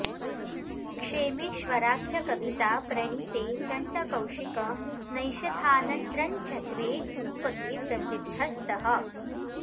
क्षेमीश्वराख्यकविता प्रणीते चण्डकौशिक नैषधानन्द्रञ्च द्वे रूपके प्रसिद्ध स्तः